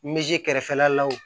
kɛrɛfɛla la wo